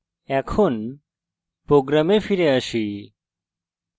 program ফিরে আসি